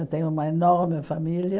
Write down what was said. Eu tenho uma enorme família.